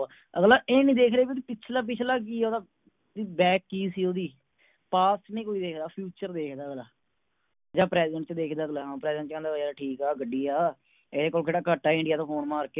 ਅਗਲਾ ਇਹ ਨੀ ਦੇਖ ਰਿਹਾ ਵੀ ਪਿਛਲਾ ਪਿਛਲਾ ਕਿ ਆ ਓਦਾਂ ਵੀ Back ਕਿ ਸੀ ਓਦੀ। Past ਨਹੀਂ ਕੋਈ ਦੇਖਦਾ Future ਦੇਖਦਾ ਅਗਲਾ ਜਾ Present ਚ ਦੇਖਦਾ ਅਗਲਾ ਹਾਂ Present ਹਾਂ ਠੀਕ ਆ ਗੱਡੀ ਆ ਇਹ ਕੋਲ ਕਿਹੜਾ ਘੱਟ ਹੈ India ਤੋਂ ਫੋਨ ਮਾਰ ਕੇ